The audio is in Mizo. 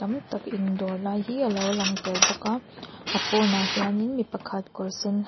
tam tak in dawr lai hi a lo lang tel bawk a a pawnah hian in mi pakhat kawr sen ha--